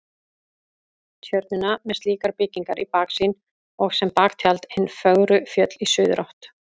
Tjörnina með slíkar byggingar í baksýn og sem baktjald hin fögru fjöll í suðurátt.